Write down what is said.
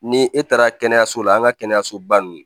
Ni e taara kɛnɛyaso la an ka kɛnɛyaso ba nun